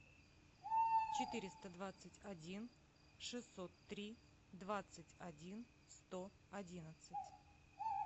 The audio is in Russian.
четыреста двадцать один шестьсот три двадцать один сто одиннадцать